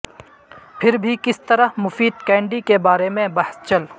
پھر بھی کس طرح مفید کینڈی کے بارے میں بحث چل